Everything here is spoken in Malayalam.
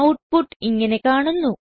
ഔട്ട്പുട്ട് ഇങ്ങനെ കാണുന്നു